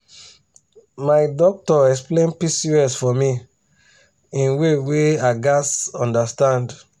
my doctor explain pcos for me in way wey i gatz understand.